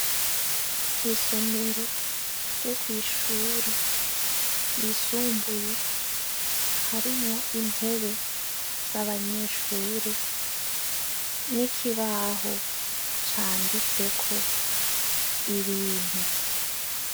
Isomero ryo kw'ishure ryisumbuye, harimwo intebe z'abanyeshure n'ikibaho canditseko ibintu.